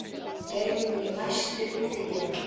Geirný, læstu útidyrunum.